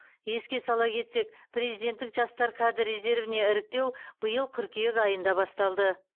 еске сала кетсек президенттік жастар кадр резервіне іріктеу биыл қыркүйек айында басталды